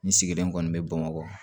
N sigilen kɔni be bamakɔ